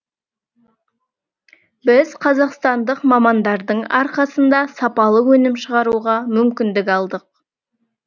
біз қазақстандық мамандардың арқасында сапалы өнім шығаруға мүмкіндік алдық